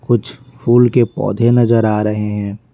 कुछ फूल के पौधे नजर आ रहे हैं।